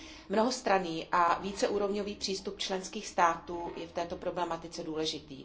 Mnohostranný a víceúrovňový přístup členských států je v této problematice důležitý.